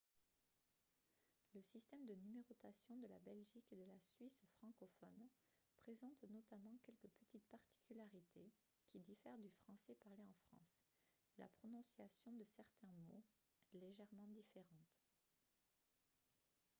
le système de numérotation de la belgique et de la suisse francophones présente notamment quelques petites particularités qui diffèrent du français parlé en france et la prononciation de certains mots est légèrement différente